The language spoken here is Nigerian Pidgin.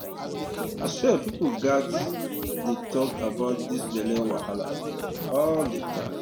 i swear people gats um dey talk about this belle wahala um all the time